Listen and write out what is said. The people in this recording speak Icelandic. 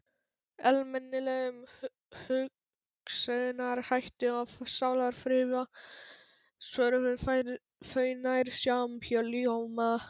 Almennilegum hugsunarhætti og sálarfriði, svöruðu þau nær samhljóma.